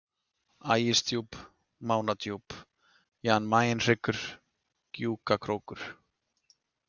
Ægisdjúp, Mánadjúp, Jan Mayenhryggur, Gjúkakrókur